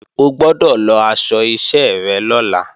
O gbọ́dọ̀ lọ aṣọ iṣẹ́ rẹ lọ́la!